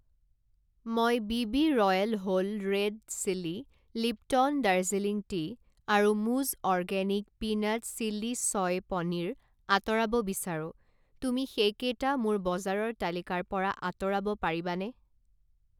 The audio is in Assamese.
মই BB Royal whole red chilli, Lipton Darjeeling tea আৰু মুজ অৰ্গেনিক পিনাট চিল্লী ছয় পনীৰ আঁতৰাব বিচাৰোঁ, তুমি সেইকেইটা মোৰ বজাৰৰ তালিকাৰ পৰা আঁতৰাব পাৰিবানে?